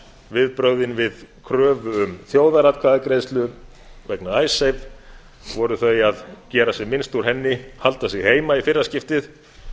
viðbrögðin við kröfu um þjóðaratkvæðagreiðslur vegna icesave voru þau að gera sem minnst úr henni halda sig heima í fyrra skiptið